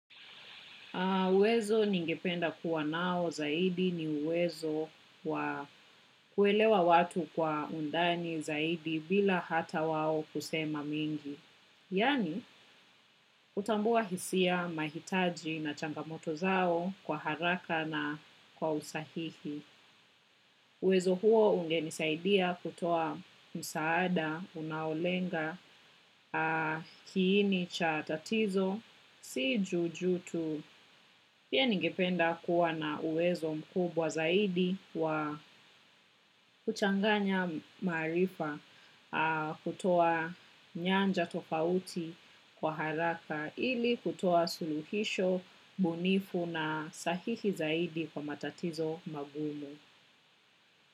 Uwezo ningependa kuwa nao zaidi ni uwezo wa kuelewa watu kwa undani zaidi bila hata wao kusema mingi. Yani, utambua hisia mahitaji na changamoto zao kwa haraka na kwa usahihi. Uwezo huo ungenisaidia kutoa msaada, unaolenga kiini cha tatizo, si juju tu, pia ningependa kuwa na uwezo mkubwa zaidi wa kuchanganya maarifa kutoa nyanja tofauti kwa haraka ili kutoa suluhisho, bunifu na sahihi zaidi kwa matatizo magumu.